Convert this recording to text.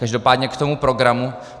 Každopádně k tomu programu.